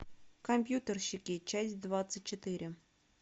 компьютерщики часть двадцать четыре